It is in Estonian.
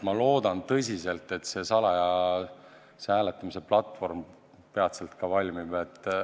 Ma loodan tõsiselt, et see salajase hääletamise platvorm peatselt siiski valmib.